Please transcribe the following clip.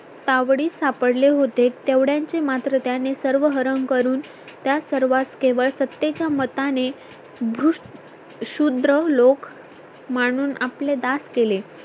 तावडीत सापडले होते तेवढ्याचे मात्र त्याने सर्व हरण करून त्या सर्वांस केवळ सत्ते च्या मताने दृस्त शूद्र लोक म्हणून आपले दास केले